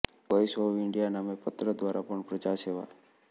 voice of India નામે પત્ર દ્વારા પણ પ્રજાસેવા